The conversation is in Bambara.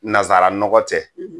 Nazsara nɔgɔɔ tɛ.